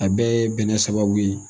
A bɛɛ ye bɛnɛ sababu ye.